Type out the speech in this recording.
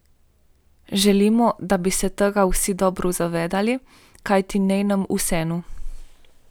Želimo, da bi se tega vsi dobro zavedali, kajti ni nam vseeno.